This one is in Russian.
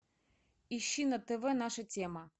ищи на тв наша тема